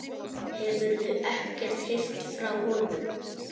Hefurðu ekkert heyrt frá honum?